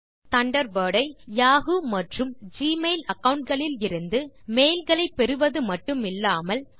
இப்போது தண்டர்பர்ட் ஐ யாஹூ மற்றும் ஜிமெயில் அகாவுண்ட் களிலிருந்து மெயில் களை பெறுவது மட்டுமில்லாமல்